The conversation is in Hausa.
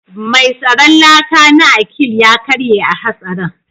Mai tsaron laka na Akil ya karye a hatsarin